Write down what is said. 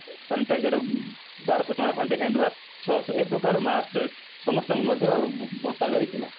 sanitizer ବାରଶହ ଟଙ୍କା ଖଣ୍ଡେ hand wash ଛଅ ଶହ ଏଇ ପ୍ରକାର mask ସମସ୍ତଙ୍କୁ ମଧ୍ୟ ବଣ୍ଟାଯାଇଥିଲା